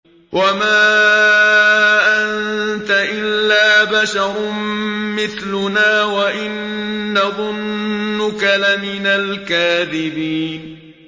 وَمَا أَنتَ إِلَّا بَشَرٌ مِّثْلُنَا وَإِن نَّظُنُّكَ لَمِنَ الْكَاذِبِينَ